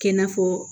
Kɛ n'a fɔ